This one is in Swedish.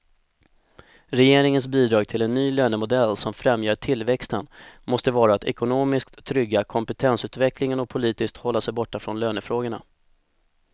Regeringens bidrag till en ny lönemodell som främjar tillväxten måste vara att ekonomiskt trygga kompetensutvecklingen och politiskt hålla sig borta från lönefrågorna.